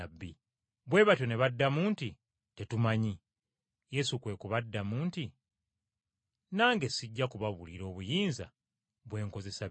Bwe batyo ne baddamu nti, “Tetumanyi!” Yesu kwe kubaddamu nti, “Nange sijja kubabuulira obuyinza bwe nkozesa bino.”